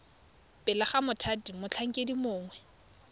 pele ga mothati motlhankedi mongwe